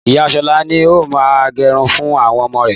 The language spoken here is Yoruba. Ìyá Ṣọlá ni ó máa ń gẹrun fún àwọn ọmọ rẹ̀